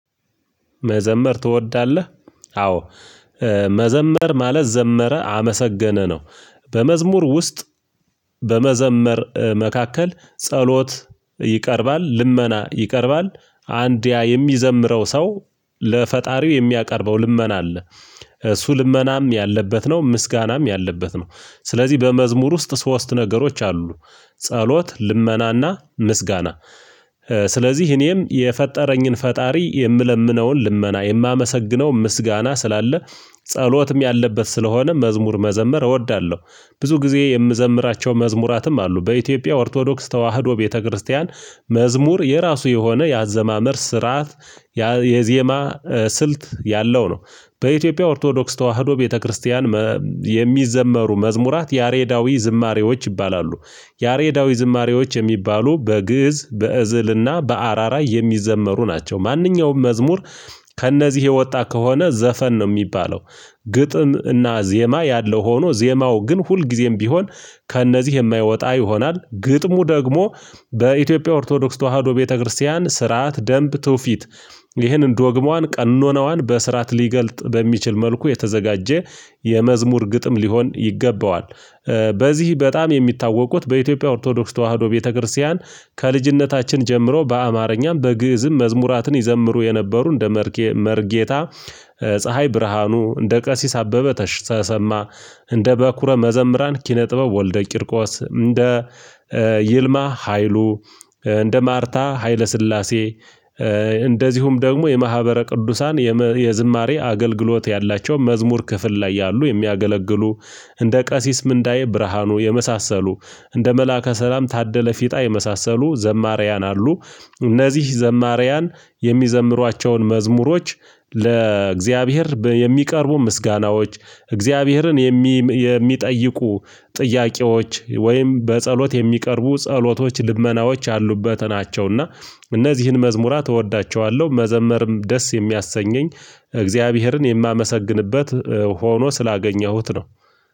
መዘመር ትወዳለህ? አዎ መዘመር ማለት ዘመረ አመሰገነ ነው። በመዝሙር ውስጥ በመዘመር መካከል ጸሎት ይቀርባል ልመና ይቀርባል አንድ ያ የሚዘምረው ሰው ለፈጣሪው የሚያቀርበው ልመና አለ። እሱ ልመናም ያለበት ነው ምስጋናም ያለበት ነው። ስለዚህ በመዝሙር ውስጥ ሶስት ነገሮች አሉ። ጸሎት ልመናና ምስጋና ስለዚህ እኔም የፈጠረኝን ፈጣሪ የምለምነውን ልመና የማመሰግነው ምስጋና ስላለ። ጸሎትም ያለበት ስለሆነ መዝሙር መዘመር እወዳለሁ። ብዙ ጊዜ የምዘምራቸው መዝሙራትም አሉ በኢትዮጵያ ኦርቶዶክስ ተዋህዶ ቤተክርስቲያን። መዝሙር የራሱ የሆነ ያአዘማመር ስርዓት የዜማ ስልት ያለው ነው። በኢትዮጵያ ኦርቶዶክስ ተዋህዶ ቤተክርስቲያን የሚዘመሩ መዝሙራት ያሬዳዊ ዝማሬዎች ይባላሉ። ያሬዳዊ ዝማሬዎች የሚባሉ በግእዝ በእዝልና በአራራ የሚዘመሩ ናቸው። ማንኛውም መዝሙር ከእነዚህ የወጣ ከሆነ ዘፈን ነው የሚባለው። ግጥም እና ዜማ ያለው ሆኖ ዜማው ግን ሁልጊዜም ቢሆን ከእነዚህ የማይወጣ ይሆናል ግጥሙ ደግሞ በኢትዮጵያ ኦርቶዶክስ ተዋህዶ ቤተክርስቲያን ስርዓት ደንብ ትውፊት። ይህንን ዶግማዋን ቀኖናዋን በስርዓት ሊገልጥ በሚችል መልኩ የተዘጋጀ የመዝሙር ግጥም ሊሆን ይገባዋል። በዚህ በጣም የሚታወቁት በኢትዮጵያ ኦርቶዶክስ ተዋህዶ ቤተክርስቲያን ከልጅነታችን ጀምሮ በአማርኛም በግእዝም መዝሙራትን ይዘምሩ የነበሩ እንደ መርጌታ። ፀሀይ ብርሃኑ እንደ ቀሲስ አበበ ተሰማ እንደ በኩረ መዘምራን ኪነ ጥበብ ወልደ ቂርቆስ እንደ ይልማ ሀይሉ። እንደ ማርታ ሀይለ ስላሴ። እንደዚሁም ደግሞ የማህበረ ቅዱሳን የዝማሬ አገልግሎት ያላቸው መዝሙር ክፍል ላይ ያሉ የሚያገለግሉ። እንደ ቀሲስ ምንዳዬ ብርሃኑ የመሳሰሉ እንደ መላከ ሰላም ታደለ ፊጣ የመሳሰሉ ዘማርያን አሉ። እነዚህ ዘማርያን የሚዘምሯቸውን መዝሙሮች ለእግዚአብሔር የሚቀርቡ ምስጋናዎች እግዚአብሔርን የሚጠይቁ ጥያቄዎች ወይም በጸሎት የሚቀርቡ ጸሎቶች ልመናዎች አሉበት ናቸውና። እነዚህን መዝሙራት እወዳቸዋለሁ መዘመርም ደስ የሚያሰኘኝ። እግዚአብሔርን የማመሰግንበት ሆኖ ስላገኘሁት ነው።